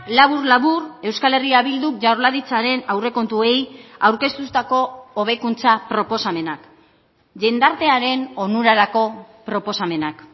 labur labur euskal herria bilduk jaurlaritzaren aurrekontuei aurkeztutako hobekuntza proposamenak jendartearen onurarako proposamenak